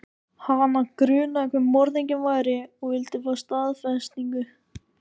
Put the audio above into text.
Hana grunaði hver morðinginn væri og vildi fá staðfestingu.